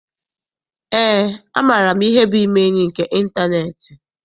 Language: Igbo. Eé, amaara m ihe bụ ime enyi nke ịntaneetị.